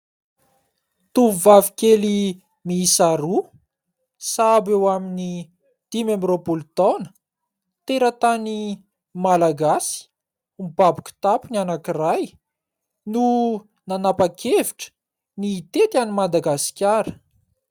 Tovovavy kely miisa roa sahabo eo amin'ny dimy amby roapolo taona teratany malagasy. Mibaby kitapo ny anankiray no nanapa-kevitra ny hitety an'i Madagasikara.